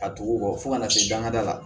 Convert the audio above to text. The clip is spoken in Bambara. A tugu kɔ fo kana se dangada la